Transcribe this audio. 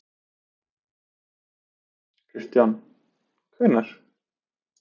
Kristján: Hvenær?